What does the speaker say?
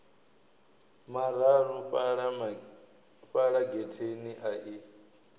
mararu fhala getheni a i